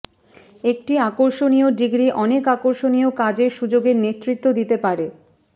একটি আকর্ষণীয় ডিগ্রী অনেক আকর্ষণীয় কাজের সুযোগের নেতৃত্ব দিতে পারে